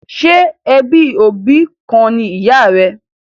Ṣé ẹbí òbí kan ni ìyà rẹ?